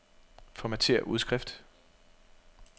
Formatér udskrift.